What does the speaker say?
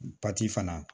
fana